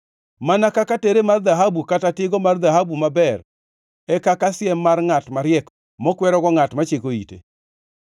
Mana kaka tere mar dhahabu kata tigo mar dhahabu maber e kaka siem mar ngʼat mariek mokwerogo ngʼat machiko ite.